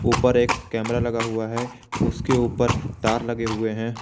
ऊपर एक कैमरा लगा हुआ है उसके ऊपर तार लगे हुए है।